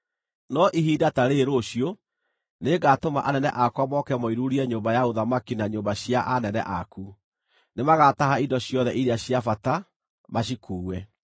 No ihinda ta rĩĩrĩ rũciũ nĩngatũma anene akwa moke moiruurie nyũmba ya ũthamaki na nyũmba cia anene aku. Nĩmagataha indo ciothe iria cia bata, macikuue.’ ”